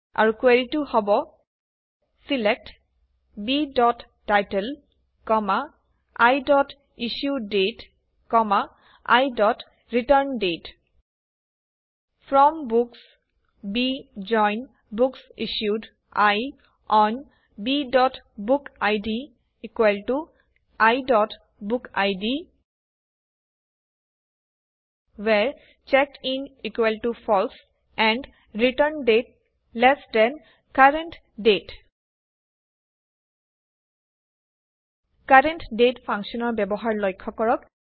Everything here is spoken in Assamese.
আৰু কুৱেৰিটো হব select title issue date return date from books B join books issued I on book id book id where checked in false and return date LT CURRENT DATE CURRENT DATE ফাংশ্যনৰ ব্যৱহাৰ লক্ষ্য কৰক